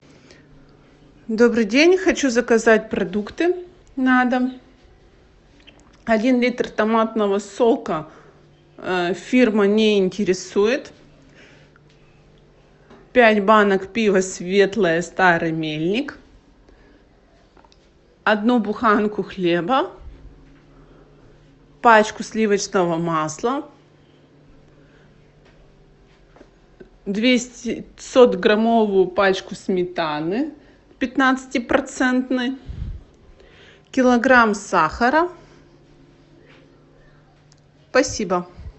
добрый день хочу заказать продукты на дом один литр томатного сока фирма не интересует пять банок пиво светлое старый мельник одну буханку хлеба пачку сливочного масла двухсотграммовую пачку сметаны пятнадцати процентной килограмм сахара спасибо